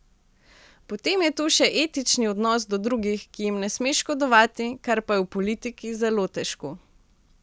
Potem je tu še etični odnos do drugih, ki jim ne smeš škodovati, kar pa je v politiki zelo težko.